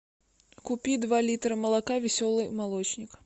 купи два литра молока веселый молочник